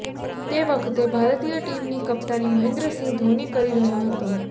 તે વખતે ભારતીય ટીમની કપ્તાની મહેન્દ્રસિંહ ધોની કરી રહ્યો હતો